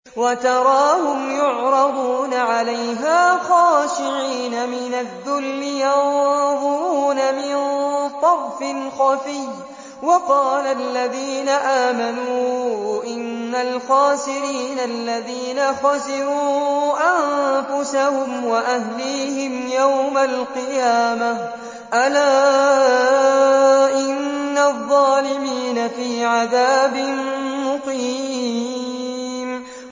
وَتَرَاهُمْ يُعْرَضُونَ عَلَيْهَا خَاشِعِينَ مِنَ الذُّلِّ يَنظُرُونَ مِن طَرْفٍ خَفِيٍّ ۗ وَقَالَ الَّذِينَ آمَنُوا إِنَّ الْخَاسِرِينَ الَّذِينَ خَسِرُوا أَنفُسَهُمْ وَأَهْلِيهِمْ يَوْمَ الْقِيَامَةِ ۗ أَلَا إِنَّ الظَّالِمِينَ فِي عَذَابٍ مُّقِيمٍ